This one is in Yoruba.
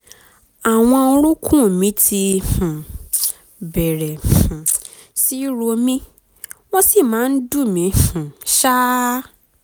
àwọn orúnkún mi ti um bẹ̀rẹ̀ um sí í ro mí wọ́n sì máa ń dùn mí um ṣáá